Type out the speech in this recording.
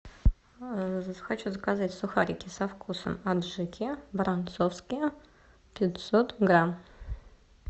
хочу заказать сухарики со вкусом аджики воронцовские пятьсот грамм